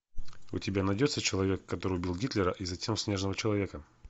у тебя найдется человек который убил гитлера и затем снежного человека